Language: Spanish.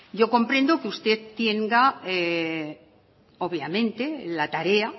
yo comprendo que usted tenga obviamente la tarea